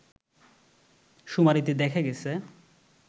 শুমারিতে দেখা গেছে